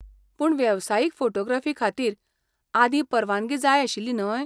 पूण वेवसायीक फोटोग्राफी खातीर आदीं परवानगी जाय आशिल्ली न्हय?